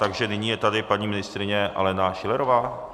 Takže nyní je tady paní ministryně Alena Schillerová.